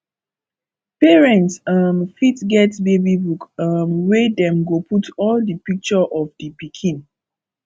parent um fit get baby book um wey dem go put all di picture of di pikin